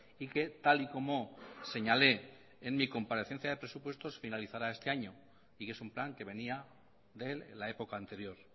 y que tal y como señalé en mi comparecencia de presupuestos finalizará este año y que es un plan que venía de la época anterior